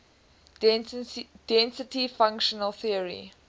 density functional theory